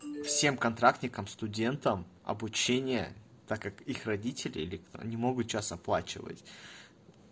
всем контрактникам студентам обучение так как их родители не могут сейчас оплачивать